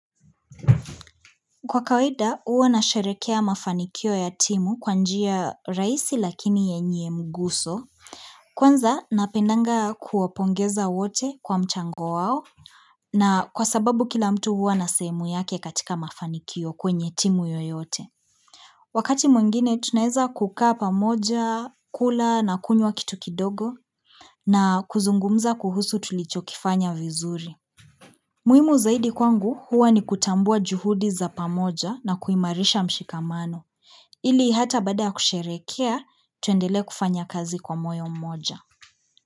Kwa kawaida, huwa nasherehekea mafanikio ya timu kwa njia rahisi lakini yenye mguso. Kwanza, napendanga kuwapongeza wote kwa mchango wao. Na kwa sababu kila mtu huwa na sehemu yake katika mafanikio kwenye timu yoyote. Wakati mwingine, tunaeza kukaa pamoja, kula na kunywa kitu kidogo na kuzungumza kuhusu tulichokifanya vizuri. Muhimu zaidi kwangu huwa ni kutambua juhudi za pamoja na kuimarisha mshikamano, ili hata baada kusherehekea tuendelee kufanya kazi kwa moyo mmoja.